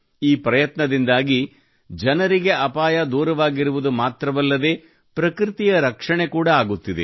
ಈ ಪ್ರಯತ್ನದಿಂದಾಗಿ ಜನರಿಗೆ ಅಪಾಯ ದೂರವಾಗಿರುವುದು ಮಾತ್ರವಲ್ಲದೇ ಪ್ರಕೃತಿಯ ರಕ್ಷಣೆ ಕೂಡಾ ಆಗುತ್ತಿದೆ